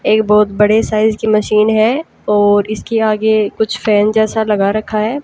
एक बहोत बड़े साइज की मशीन है और इसके आगे कुछ फैन जैसा लगा रखा है।